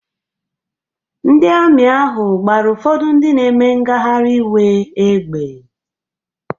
Ndị Amị ahụ gbara ụfọdụ ndị na-eme ngagharị iwe égbè.